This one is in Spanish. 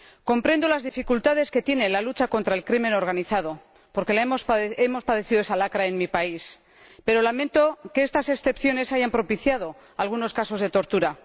Comprendo las dificultades que tiene la lucha contra el crimen organizado, porque hemos padecido esa lacra en mi país, pero lamento que estas excepciones hayan propiciado algunos casos de tortura.